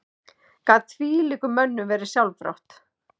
Gat þvílíkum mönnum verið sjálfrátt?